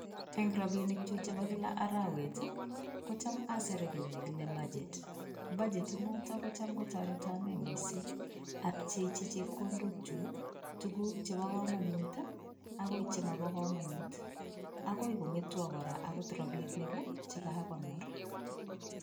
Eng rapinikchu chepo kila arawet, kocham asire kiy nekile budget. Budget inoto kocham kotoreto ane mising apchechi chepkondokchu tuguk chepo komonut, akoi chemopo komonut akoi kong'etwo kora akot rapinik chekakonor.